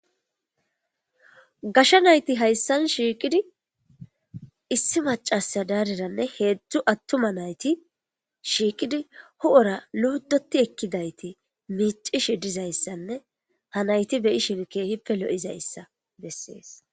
gasha nayti hayssan shiiqidi issi macasa daariranne heedzdzu attuma nayti shiiqidi ho7ora luudoti ekkidayti miicishi dizayssanne ha nayti beyi shinkehippe lo7izayssa bessees